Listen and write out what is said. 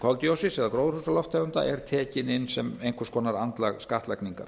koldíoxíðs eða gróðurhúsalofttegunda er tekin inn sem einhvers konar andlag skattlagningar